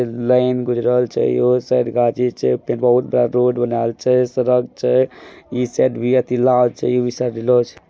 Line गुजरल छै योहो साइड गाजी छै बहुत बड़ा रोड बनल छै सड़क छै।